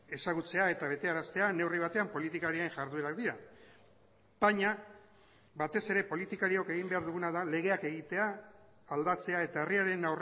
ezagutzea eta betearaztea neurri batean politikarien jarduerak dira baina batez ere politikariok egin behar duguna da legeak egitea aldatzea eta herriaren